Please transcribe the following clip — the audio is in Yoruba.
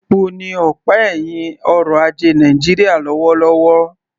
Epo ni ọ̀pá ẹ̀hìn ọrọ̀ ajé Nàìjíríà lọ́wọ́lọ́wọ́